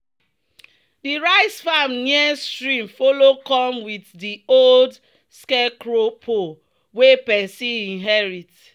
"di rice farm near stream follow come with di old scarecrow pole wey person inherit."